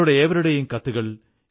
ഇനിയും പല പുണ്യദിനങ്ങളും വരുന്നുണ്ട്